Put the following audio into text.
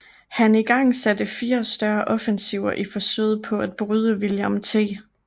Han igangsatte fire større offensiver i forsøget på at bryde William T